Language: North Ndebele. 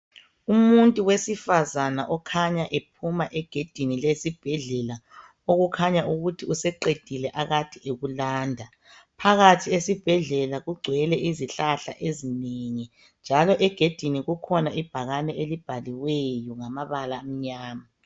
Umuntu wesifazane okhanya ephuma egedini lesibhedlela okukhanya ukuthi useqedile akade ekulanda phakathi esibhedlela kugcwele izihlahla ezinengi njalo egedini kukhona ibhakane elibhaliweyo ngamabala amnyama.